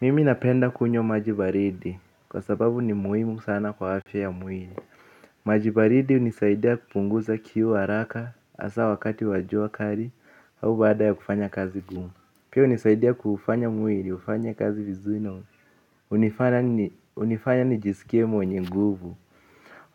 Mimi napenda kunywa maji baridi kwa sababu ni muhimu sana kwa afya ya mwili. Maji baridi hunisaidia kupunguza kiu haraka hasa wakati wa jua kali au baada ya kufanya kazi ngumu. Pia hunisaidia kuufanya mwili ufanye kazi vizuri hunifanya nijisikie mwenye nguvu.